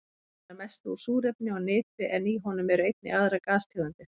Hann er að mestu úr súrefni og nitri en í honum eru einnig aðrar gastegundir.